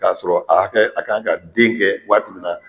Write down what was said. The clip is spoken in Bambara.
Kasɔrɔ aa kɛ a kan ka den kɛ waati min na